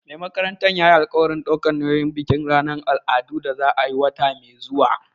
Mai makarantar yayi alƙawarin ɗaukar nauyin bikin ranar al'adu da za a yi wata mai zuwa